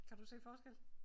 Kan du se forskel?